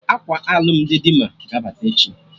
Akwa alụmdi Dimma ga-abata echi